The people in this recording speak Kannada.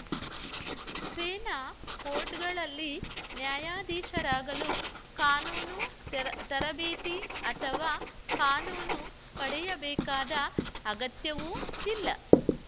ಸೇನಾ ಕೋರ್ಟ್‌ಗಳಲ್ಲಿ ನ್ಯಾಯಾಧೀಶರಾಗಲು ಕಾನೂನು ತರಬೇತಿ ಅಥವಾ ಕಾನೂನು ಪಡೆಯಬೇಕಾದ ಅಗತ್ಯವೂ ಇಲ್ಲ